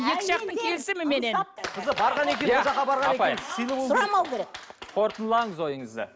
екі жақтың келісіміменен иә апай сұрамау керек қорытындылаңыз ойыңызды